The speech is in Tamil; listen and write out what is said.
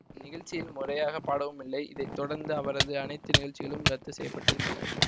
நிகழ்ச்சியில் முறையாக பாடவும் இல்லை இதை தொடர்ந்து அவரது அனைத்து நிகழ்ச்சிகளும் ரத்து செய்ய பட்டிருந்தன